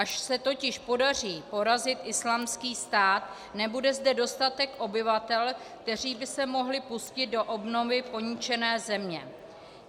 Až se totiž podaří porazit Islámský stát, nebude zde dostatek obyvatel, kteří by se mohli pustit do obnovy poničené země.